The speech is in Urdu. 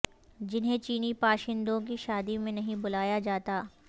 جنھیں چینی باشندوں کی شادی میں نہیں بلایا جاتا